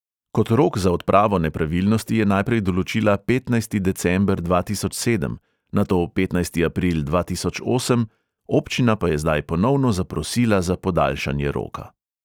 Kot rok za odpravo nepravilnosti je najprej določila petnajsti december dva tisoč sedem, nato petnajsti april dva tisoč osem, občina pa je zdaj ponovno zaprosila za podaljšanje roka.